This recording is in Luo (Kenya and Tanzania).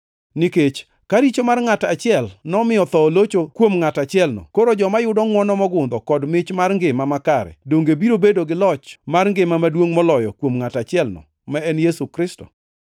Nikech ka richo mar ngʼat achiel nomiyo tho olocho kuom ngʼat achielno, koro joma yudo ngʼwono mogundho kod mich mar ngima makare donge biro bedo gi loch mar ngima maduongʼ moloyo kuom ngʼat achielno, ma en Yesu Kristo.